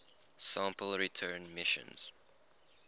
sample return missions